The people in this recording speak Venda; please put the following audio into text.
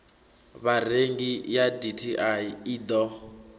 vharengi ya dti i ḓo